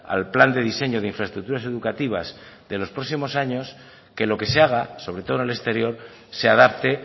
al plan de diseño de infraestructuras educativas de los próximos años que lo que se haga sobre todo en el exterior se adapte